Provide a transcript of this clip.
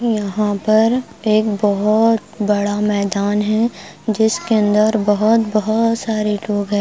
यहां पर एक बहुत बड़ा मैदान है जिसके अंदर बहुत बहुत सारे लोग है।